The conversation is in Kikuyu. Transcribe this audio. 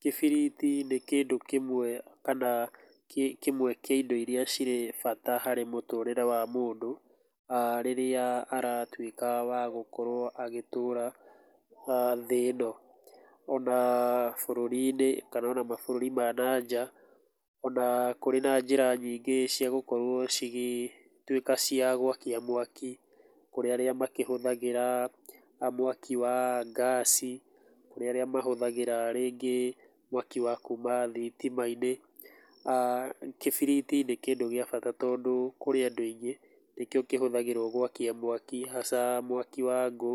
Kĩbiriti nĩ kĩndũ kĩmwe, kana, kĩndũ kĩmwe kĩa indo irĩa cirĩ bata harĩ mũtũũrĩre wa mũndũ rĩrĩa aratuĩka, wagũkorũo agĩtũra, thĩ ĩno. Ona bũrũri-inĩ, kana ona mabũrũri ma na nja, ona kũrĩ na njĩra nyingĩ cia gũkorũo cigĩtuĩka cia gwakia mwaki, kũrĩa arĩa makĩhũthagĩra, mwaki wa ngaaci, kũrĩ arĩa mahũthagĩra rĩngĩ mwaki wa kuuma thitima-inĩ, kĩbiriti nĩ kĩndũ gĩa bata tondũ kũrĩ andũ aingĩ nĩkĩo kĩhũthĩragũo gwakia mwaki hasa mwaki wa ngũ,